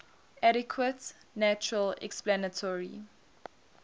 adequate natural explanatory